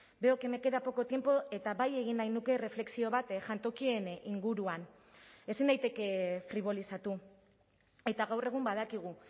veo que me queda poco tiempo eta bai egin nahi nuke erreflexio bat jantokien inguruan ezin daiteke fribolizatu eta gaur egun badakigu